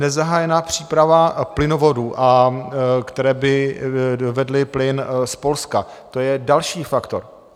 Nezahájená příprava plynovodů, které by vedly plyn z Polska, to je další faktor.